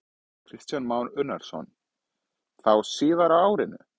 Kristján Már Unnarsson: Þá síðar á árinu?